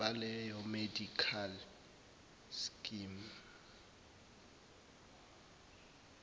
baleyo medical scheme